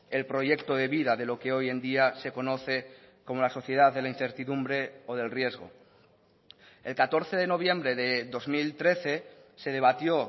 el proyecto de vida de lo que hoy en día se conoce como la sociedad de la incertidumbre o del riesgo el catorce de noviembre de dos mil trece se debatió